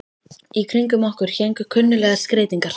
Í kringum okkur héngu kunnuglegar skreytingar.